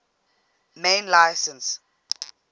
main license